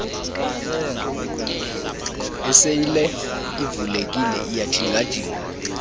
iseyile ivulekile iyajingajinga